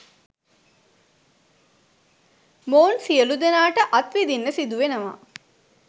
මොවුන් සියළු දෙනාට අත් විදින්න සිදුවෙනවා.